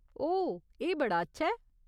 ओह्, एह् बड़ा अच्छा ऐ।